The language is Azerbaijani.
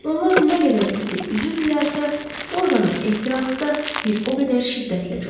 Onlar nə qədər iti üzürdülərsə, orqanın ehtirası da bir o qədər şiddətlə coşurdu.